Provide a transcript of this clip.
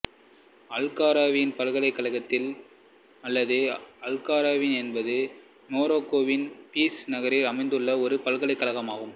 al Qarawiyyin பல்கலைக்கழகம் அல்லது al Qarawiyyin என்பது மொரோக்கோவின் ஃபிசு நகரில் அமைந்துள்ள ஒரு பல்கலைக்கழகம் ஆகும்